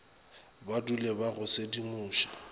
ba dule ba go sedimoša